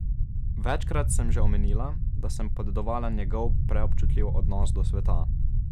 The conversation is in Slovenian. Večkrat sem že omenila, da sem podedovala njegov preobčutljiv odnos do sveta.